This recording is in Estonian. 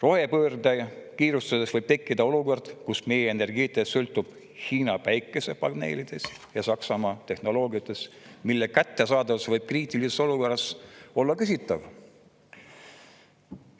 Rohepöördega kiirustades võib tekkida olukord, kus meie energeetika sõltub Hiina päikesepaneelidest ja Saksamaa tehnoloogiast, mille kättesaadavus võib kriitilises olukorras olla küsitav.